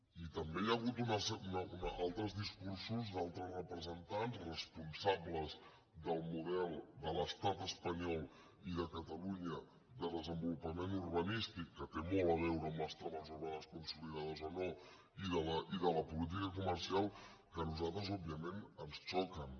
i també hi ha hagut altres discursos d’altres represen·tants responsables del model de l’estat espanyol i de catalunya de desenvolupament urbanístic que té molt a veure amb les trames urbanes consolidades o no i de la política comercial que a nosaltres òbviament ens xoquen